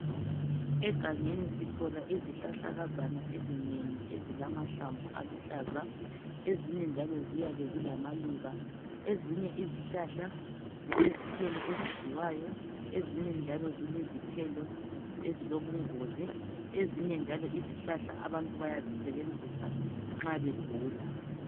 Egangeni sithola izihlahlakazana ezinengi ezilamahlamvu aluhlaza. Ezinye njalo ziyabe zilamaluba ezinye njalo izihlahla zilezithelo ezidliwayo ezinye njalo zilezithelo ezilobungozi. Ezinye njalo izihlahla abantu bayazisebenzisa nxa begula.